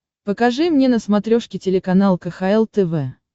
покажи мне на смотрешке телеканал кхл тв